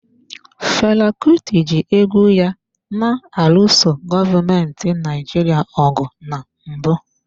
Fela Kuti ji egwu ya na-alụso gọọmenti Naijiria ọgụ na mbụ.